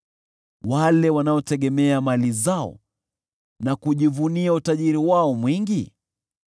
wale wanaotegemea mali zao na kujivunia utajiri wao mwingi?